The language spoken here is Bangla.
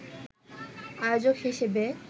আয়োজক হিসেবে